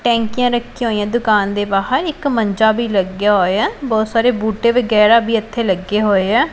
ਟੈਂਕੀਆਂ ਰੱਖੀਆਂ ਹੋਈਆਂ ਦੁਕਾਨ ਦੇ ਬਾਹਰ ਇੱਕ ਮੰਜਾ ਵੀ ਲੱਗਿਆ ਹੋਇਆ ਬਹੁਤ ਸਾਰੇ ਬੂਟੇ ਵਗੈਰਾ ਵੀ ਇੱਥੇ ਲੱਗੇ ਹੋਏ ਏਂ।